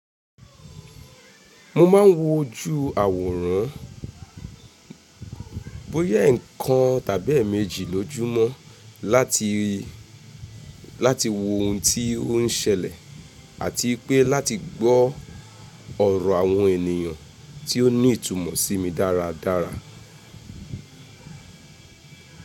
Mo ma ń wo ju àwòrán bọ́yá ekan tàbí èmejì lójúmọ́ láti wo ohun tí ó ń ṣẹlẹ̀ àti pé láti gbọ́ ọ̀rò àwọn ènìyàn tí ó ní ìtumọ̀ sí mi dáradára.